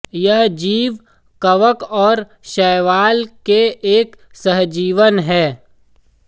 यह जीव कवक और शैवाल के एक सहजीवन है